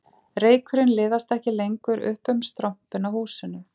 Reykurinn liðast ekki lengur upp um strompinn á húsinu